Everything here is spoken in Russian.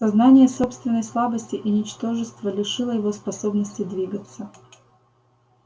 сознание собственной слабости и ничтожества лишило его способности двигаться